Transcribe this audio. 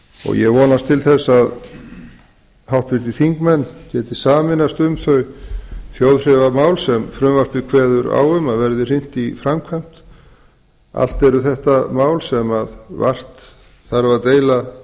og ég vonast til þess að háttvirtir þingmenn geti sameinast um þau þjóðþrifamál sem frumvarpið kveður á um að verði hrint í framkvæmd allt eru þetta mál sem vart þarf að deila